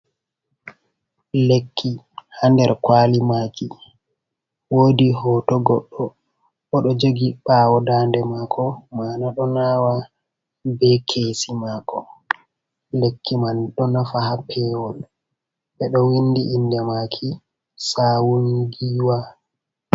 Lekki ha nder kwali maki wodi hoto goɗɗo oɗo jogi ɓawo dande mako mana ɗo nawa be kesi mako lekki man ɗo nafa ha pewol ɓeɗo windi inde maki sawungiwa.